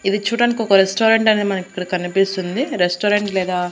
ఇది చూడ్డానికి ఒక రెస్టారెంట్ అని మనకిక్కడ కనిపిస్తుంది రెస్టారెంట్ లేదా--